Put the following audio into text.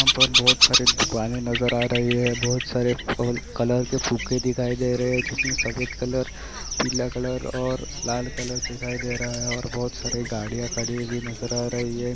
यहाँ पर बहुत सारी दुकाने नजर आ रही है बहुत सारे कलर के फुगे दिखाई दे रहे हैं जिसमें सफेद कलर पीला कलर और लाल कलर दिखाई दे रहा है और बहुत सारी गाड़ियां खड़ी हुई नजर आ रही है।